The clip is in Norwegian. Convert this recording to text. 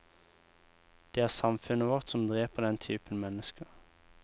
Det er samfunnet vårt som dreper den typen mennesker.